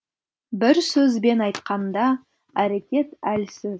бір сөзбен айтқанда әрекет әлсіз